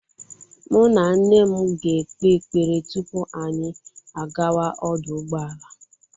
Mụ na nne m ga-ekpe ekpere tupu anyị agawa ọdụ ụgbọala.